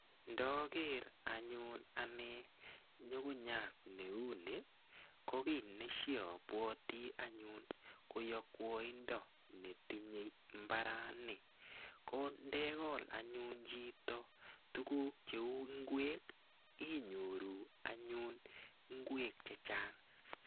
Ndoker anyun ane nyugunyat neu ni , ko kiy ne shiabwoti ane ko yokwoindo netindoi mbarani. Ko ndekol anyun chito tukuk cheu ngwek inyoru anyun ngwek che chang'.